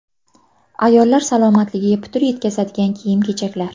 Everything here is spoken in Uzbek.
Ayollar salomatligiga putur yetkazadigan kiyim-kechaklar.